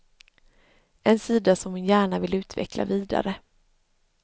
En sida som hon gärna vill utveckla vidare.